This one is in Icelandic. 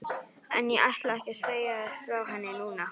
En ég ætla ekki að segja þér frá henni núna.